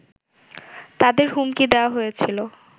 তাদের হুমকি দেয়া হয়েছিল